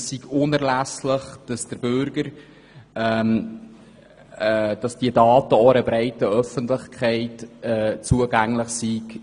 Es sei unerlässlich, dass die Daten auch einer breiten Öffentlichkeit zugänglich seien.